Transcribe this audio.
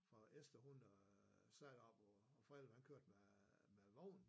For Esther hun øh sad op og Frede han kørte med med vognen